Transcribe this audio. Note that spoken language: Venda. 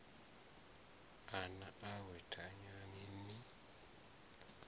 a na awe thanyani ni